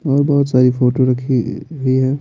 और बहुत सारी फोटो रखी हुई है।